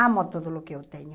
Amo tudo o que eu tenho.